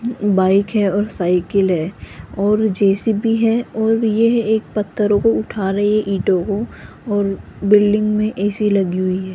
Bike है और cycle है और जे_सी_बी है और यह एक पत्थरों को उठा रही है ईंटों को और बिल्डिंग मे ए_सी लगी हुई है।